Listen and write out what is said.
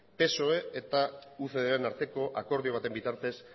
psoe eta ucdren arteko akordio baten bitartez